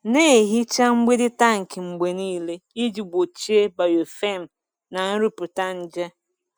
Na-ehicha mgbidi tankị mgbe niile iji gbochie biofilm na nrụpụta nje.